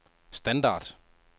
standard